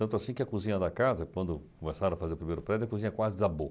Tanto assim que a cozinha da casa, quando começaram a fazer o primeiro prédio, a cozinha quase desabou.